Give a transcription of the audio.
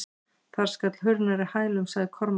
Þar skall hurð nærri hælum, sagði Kormákur.